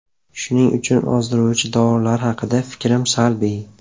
Shuning uchun ozdiruvchi dorilar haqida fikrim salbiy.